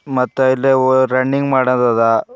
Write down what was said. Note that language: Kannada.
ಮತ್ತೆ ಇಲ್ಲೆ ಓ ರನ್ನಿಂಗ್ ಮಾಡೋದ್ ಅದ.